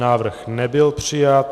Návrh nebyl přijat.